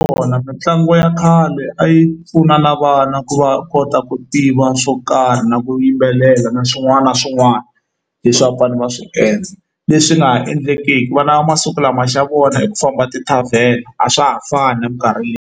Vona mitlangu ya khale a yi pfuna na vana ku va kota ku tiva swo karhi na ku yimbelela na swin'wana na swin'wana leswi va fanele va swi endla leswi nga ha endleki ku vana va masiku lama xa vona hi ku famba ti-tavern a swa ha fani na minkarhi .